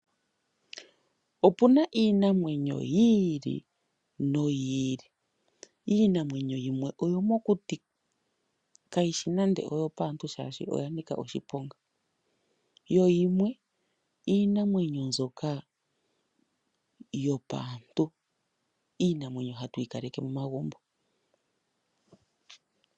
Opuna iinamwenyo yi ili noyi ili. Iinamwenyo yimwe oyomokuti kayishi nande oyo paantu shaashi oya nika oshiponga yo yimwe iinamwenyo mbyoka yopaantu, iinamwenyo hatu yi kaleke momagumbo.